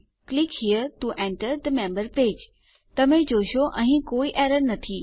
click here to enter the member page તમે જોઈ શકો છો અહીં કોઈ એરર નથી